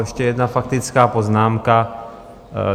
Ještě jedna faktická poznámka.